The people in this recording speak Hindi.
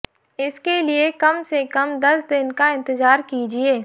इसके लिए कम से कम दस दिन का इंतजार कीजिए